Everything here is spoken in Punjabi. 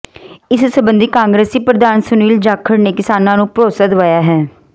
ਇਸ ਸਬੰਧੀ ਕਾਂਗਰਸੀ ਪ੍ਰਧਾਨ ਸੁਨੀਲ ਜਾਖੜ ਨੇ ਕਿਸਾਨਾਂ ਨੂੰ ਭਰੋਸਾ ਦਿਵਾਇਆ ਹੈ